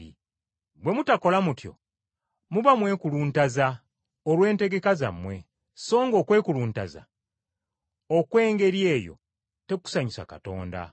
Bwe mutakola mutyo muba mwekuluntaza olw’entegeka zammwe, songa okwekuluntaza okw’engeri eyo tekusanyusa Katonda.